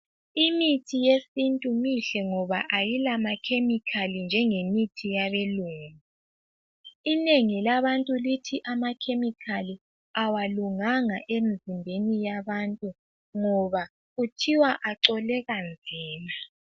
Imithi yesintu mihle ngoba ayila makemikali njengemithi yabelungu. Inengi labantu lithi amakemikali awalunganga emizimbeni yabantu ngoba kuthiwa acoleka nzima.